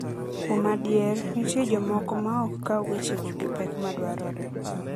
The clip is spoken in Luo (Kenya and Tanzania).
Kuom adier, nitie jomoko maok kaw wechego gi pek madwarore.